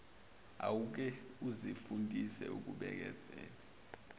awuke uzifundise ukubekezela